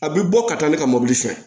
A bɛ bɔ ka taa ne ka mobili sen